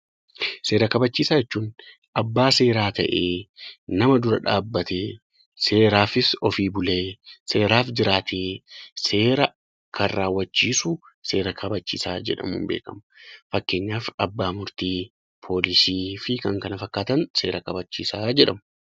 Seera kabachiisaa jechuun abbaa seeraa ta'ee nama dura dhaabbatee seeraafis dhaabbatee seera kan kabachiisu abbaa seeraa jedhama. Fakkeenyaaf abbaa murtii poolisii fi kan kana fakkaatan seera kabachiisaa jedhamu.